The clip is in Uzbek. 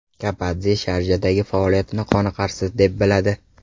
Kapadze Sharjadagi faoliyatini qoniqarsiz deb biladi.